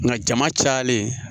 Nka jama cayalen